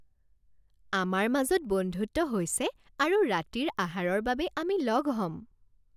আমাৰ মাজত বন্ধুত্ব হৈছে আৰু ৰাতিৰ আহাৰৰ বাবে আমি লগ হ'ম